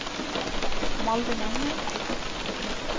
Malvin Engen